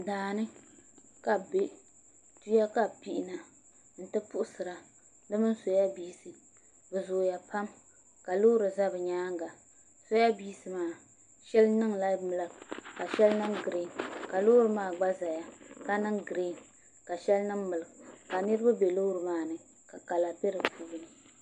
Daani ka bi bɛ tuya ka bi pihina n ti puɣusura di mini soyabiinsi bi zooya pam ka loori ʒɛ bi nyaanga soyabiinsi maa shɛli niŋla bilak ka shɛli niŋ giriin la loori maa gba ʒɛya ka niŋ giriin ka niraba bɛ loori maa ni ka kala bɛ di puuni